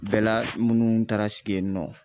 Bɛla minnu taara sigi yen nɔ